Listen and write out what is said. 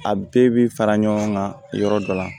A bɛɛ bi fara ɲɔgɔn kan yɔrɔ dɔ la